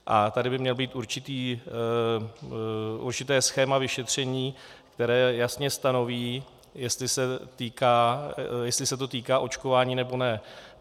A tady by mělo být určité schéma vyšetření, které jasně stanoví, jestli se to týká očkování, nebo ne.